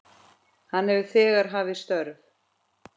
Hann hefur þegar hafið störf.